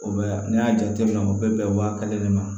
O bɛ n'i y'a jateminɛ o bɛ bɛn waa kelen de ma